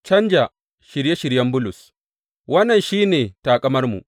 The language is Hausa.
Canja shirye shiryen Bulus Wannan shi ne taƙamarmu.